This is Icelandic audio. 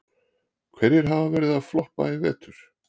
Hverjir hafa verið að floppa í vetur?